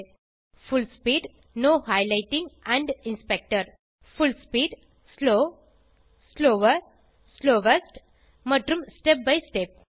புல் speed full speed slow slower slowest மற்றும் step by step